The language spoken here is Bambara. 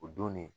O don ne